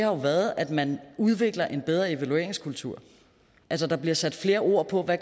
har været at man udvikler en bedre evalueringskultur altså der bliver sat flere ord på hvad